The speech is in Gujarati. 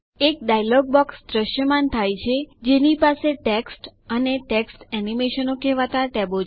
એક ડાયલોગ બોક્સ દ્રશ્યમાન થાય છે જેની પાસે ટેક્સ્ટ અને ટેક્સ્ટ એનિમેશન કહેવાતા ટેબો છે